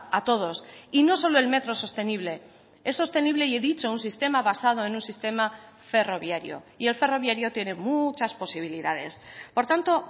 a todos y no solo el metro sostenible es sostenible y he dicho un sistema basado en un sistema ferroviario y el ferroviario tiene muchas posibilidades por tanto